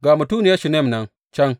Ga mutuniyar Shunam nan can!